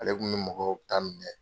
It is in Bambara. Ale kun bɛ mɔgɔw ta minɛ.